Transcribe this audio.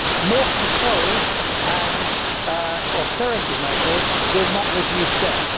More control and austerity measures will not reduce debt.